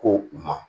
Ko u ma